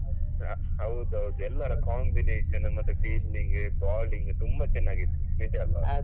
ಹೌದೌದು ಎಲ್ಲರ combination ಮತ್ತೆ fielding ಮತ್ತೆ bowling ತುಂಬಾ ಚೆನ್ನಾಗಿತ್ತು ನಿಜ ಅಲ್ಲಾ